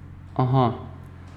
Aha.